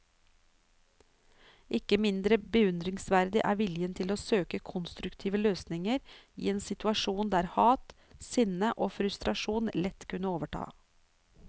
Ikke mindre beundringsverdig er viljen til å søke konstruktive løsninger i en situasjon der hat, sinne og frustrasjon lett kunne ta overhånd.